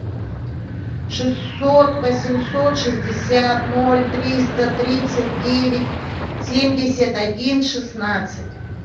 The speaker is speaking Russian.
шестьсот восемьсот шестьдесят ноль триста тридцать девять семьдесят один шестнадцать